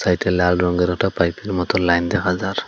একটা লাল রঙ্গের একটা পাইপের মত লাইন দেখা যার--।